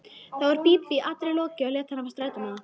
Þá var Bíbí allri lokið og lét hana fá strætómiða.